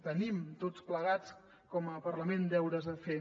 tenim tots plegats com a parlament deures a fer